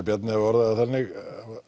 Bjarni hafi orðað það þannig